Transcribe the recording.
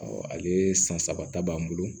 ale san saba ta b'an bolo